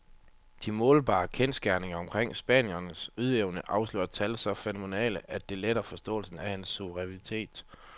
De målbare kendsgerninger omkring spanierens ydeevne afslører tal så fænomenale, at det letter forståelsen af hans suverænitet.